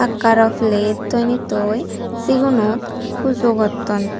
eka aro plate toney toi sigunot pujo gotton.